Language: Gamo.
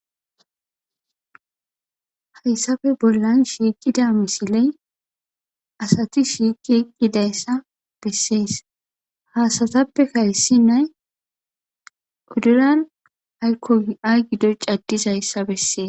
Haysappe bollan shiqida misiley asati shiqi eqidaysa beses. Ha asatappeka issinay udulan ayko ayi gido c'adizaysa beses.